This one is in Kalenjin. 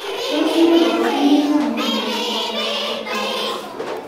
Tos nee kabarunoik ap miondop kaututet ap portoo ?